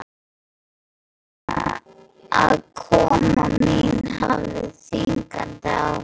Ég fann að koma mín hafði þvingandi áhrif.